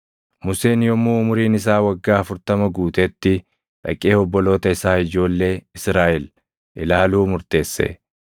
“Museen yommuu umuriin isaa waggaa 40 guutetti dhaqee obboloota isaa ijoollee Israaʼel ilaaluu murteesse.